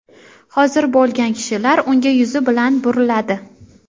hozir bo‘lgan kishilar unga yuzi bilan buriladi.